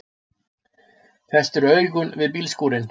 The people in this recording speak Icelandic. Festir augun við bílskúrinn.